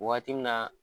Waati min na